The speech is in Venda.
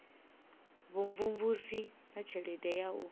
vhumvumvusi na tshelede ya u